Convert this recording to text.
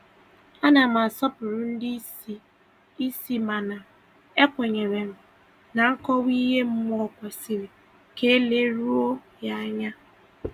A na m asọpụrụ ndị isi isi mana ekwenyere m na nkọwa ihe mmụọ kwesịrị ka e leruo ya anya.